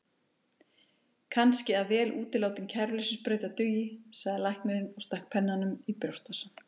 Kannski að vel útilátin kæruleysissprauta dugi, sagði læknirinn og stakk pennanum í brjóstvasann.